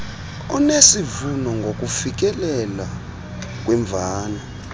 onesivuno ngokufikelela kwimvano